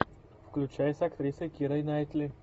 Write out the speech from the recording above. включай с актрисой кирой найтли